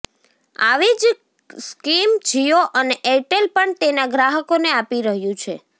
આવી જ સ્કીમ જિયો અને એરટેલ પણ તેના ગ્રાહકોને આપી રહ્યું છે